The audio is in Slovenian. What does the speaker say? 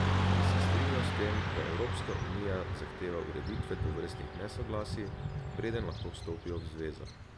In se strinjal s tem, da Evropska unija zahteva ureditev tovrstnih nesoglasij, preden lahko vstopijo v zvezo.